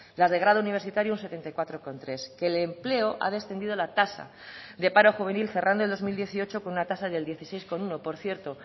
las de grado universitario un setenta y cuatro coma tres que el empleo ha descendido la tasa de paro juvenil cerrando el dos mil dieciocho con una tasa del dieciséis coma uno por cierto